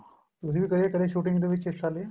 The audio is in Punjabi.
ਤੁਸੀਂ ਵੀ ਗਏ ਕਦੇ shooting ਦੇ ਵਿੱਚ ਹਿੱਸਾ ਲਿਆ